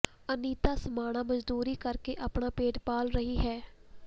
ਅਨੀਤਾ ਸਮਾਣਾ ਮਜ਼ਦੂਰੀ ਕਰਕੇ ਆਪਣਾ ਪੇਟ ਪਾਲ ਰਹੀ ਹੈ